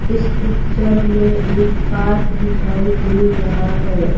इस पिक्चर में एक पार्क दिखाई दे रहा है।